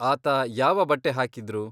ಆತ ಯಾವ ಬಟ್ಟೆ ಹಾಕಿದ್ರು?